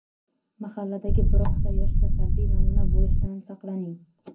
Mahalladagi birorta yoshga salbiy namuna bo‘lishdan saqlaning.